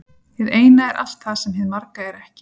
Hið eina er allt það sem hið marga er ekki.